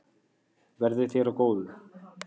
Verði þér að góðu.